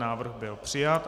Návrh byl přijat.